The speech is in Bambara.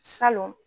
Salon